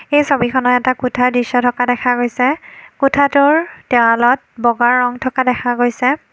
এই ছবিখনত এটা কোঠা দৃশ্য থকা দেখা গৈছে কোঠাটোৰ দেৱালত বগা ৰং থকা দেখা গৈছে।